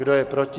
Kdo je proti?